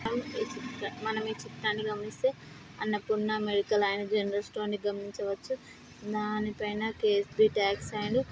మనం ఈ చిత్రా మనం ఈ చిత్రాన్ని గమనిస్తే అన్నపూర్ణ మెడికల్ అండ్ జనరల్ స్టోర్స్ని గమనించవచ్చు దాని పైన కే_ ఎస్_డి కాట్స్ అండ్ --